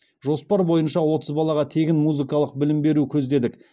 жоспар бойынша отыз балаға тегін музыкалық білім беру көздедік